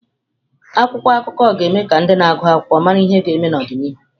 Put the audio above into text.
Akwụkwọ akụkọ ga-eme ka ndị na-agụ akwụkwọ mara ihe ndị ga-eme n'ọdịnihu.